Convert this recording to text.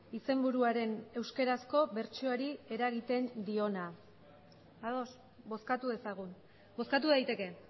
izenburuaren euskarazko bertsioari eragiten diona ados bozkatu dezagun bozkatu daiteke